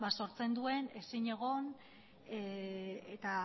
sortzen duen ezinegona eta